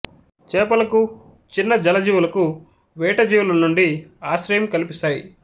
చేపలకు చిన్న జల జీవులకూ వేటజీవుల నుండి ఆశ్రయం కల్పిస్తాయి